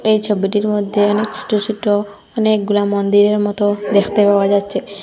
এই ছবিটির মধ্যে অনেক সোট সোট অনেকগুলা মন্দিরের মতো দেখতে পাওয়া যাচ্ছে।